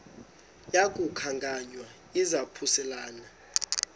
yaku khankanya izaphuselana